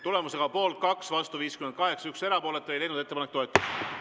Tulemusega poolt 2, vastu 58 ja erapooletuid 1, ei leidnud ettepanek toetust.